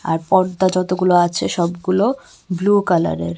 আর পর্দা যতগুলো আছে সবগুলো ব্লু কালারের .